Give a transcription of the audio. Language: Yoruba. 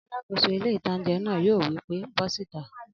Alàkóso ilé-ìtánjẹ náà yóò wí pé bọ́ síta!